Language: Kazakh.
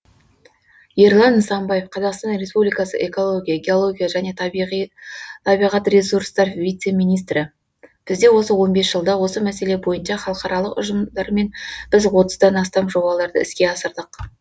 ерлан нысанбаев қазақстан республикасы экология геология және табиғат ресурстар вице министрі бізде осы он бес жылда осы мәселе бойынша халықаралық ұжымдармен біз отыздан астам жобаларды іске асырдық